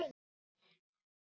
En hvernig kom þetta til?